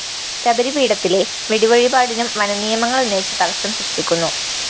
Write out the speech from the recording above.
ശബരി പീഠത്തിലെ വെടിവഴിപാടിനും വനനിയമങ്ങള്‍ ഉന്നയിച്ച് തടസ്സം സൃഷ്ടിക്കുന്നു